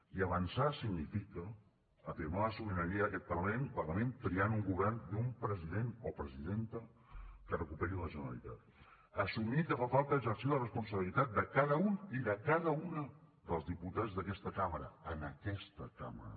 i avançar significa afirmar la sobirania d’aquest parlament triant un govern i un president o presidenta que recuperi la generalitat assumir que fa falta exercir la responsabilitat de cada un i de cada una dels diputats d’aquesta cambra en aquesta cambra